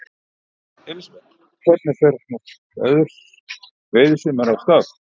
Elísabet, hvernig fer nú veiðisumarið af stað?